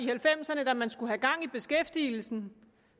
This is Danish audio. halvfemserne da man skulle have gang i beskæftigelsen